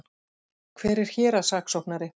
Hver er héraðssaksóknari?